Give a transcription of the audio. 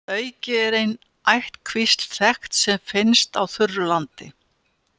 Að auki er ein ættkvísl þekkt sem finnst á þurru landi.